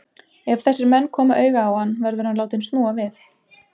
Ef þessir menn koma auga á hann, verður hann látinn snúa við.